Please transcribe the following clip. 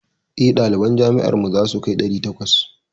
Eh, ɗaliban jami'ar mu zasu kai ɗari takwas.